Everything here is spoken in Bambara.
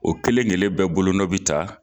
O kelen kelen bɛɛ bolonɔ be ta .